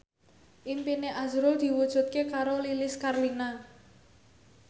impine azrul diwujudke karo Lilis Karlina